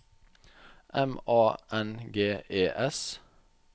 M A N G E S